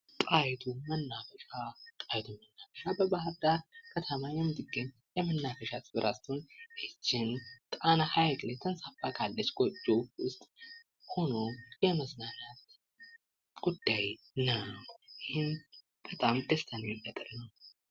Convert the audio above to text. ጣይቱ መናፈሻ፦ ጣይቱ መናፈሻ በባህርዳር የሚገኝ የመናፈሻ ቦታ ስትሆን ይቺም ጣና ሐይቅ ላይ ካለች ጎጆ ሆኖ የመዝናናት ጉዳይ ነው። ይህም በጣም ደስ የሚል ነገር ነው።